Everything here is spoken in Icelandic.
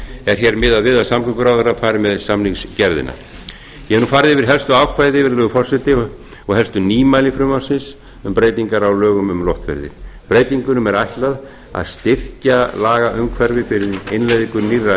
er hér miðað við að samgönguráðherra fari með samningsgerðina ég hef nú farið yfir helstu ákvæði virðulegur forseti og helstu nýmæli frumvarpsins um breytingar á lögum um loftferðir breytingunum er ætlað að styrkja lagaumhverfi fyrir innleiðinga nýrra e e